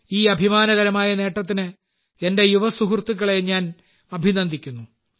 ഈ അഭിമാനകരമായ നേട്ടത്തിന് എന്റെ യുവസുഹൃത്തുക്കളെ ഞാൻ അഭിനന്ദിക്കുന്നു